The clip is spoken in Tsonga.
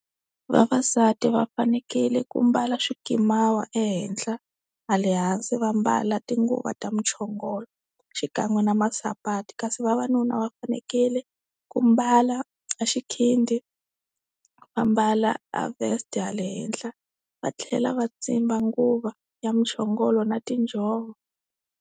Vavasati va fanekele ku mbala swikimawa ehenhla ha le hansi va mbala tinguva ta muchongolo xikan'we na masipati kasi vavanuna va fanekele ku mbala a xikhindhi va mbala a-vest hale henhla va tlhela va tsimba nguva ya muchongolo na tinjhovo.